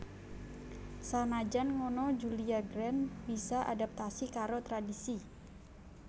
Sanajan ngono Julia Grant bisa adaptasi karo tradhisi